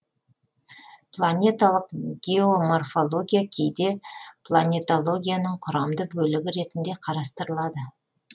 планеталық геоморфология кейде планетологияның құрамды бөлігі ретінде карастырылады